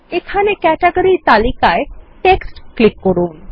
এখানে ক্যাটেগরি তালিকায়Text ক্লিক করুন